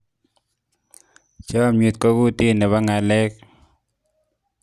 chamiet ko kutit nebo ngalek